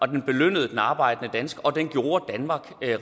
den belønnede den arbejdende dansker og den gjorde danmark